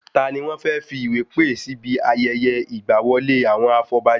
Tani wọ́n fẹ́ fí ìwé pè síbi ayẹyẹ ìgba wọlé àwọn afọbajẹ?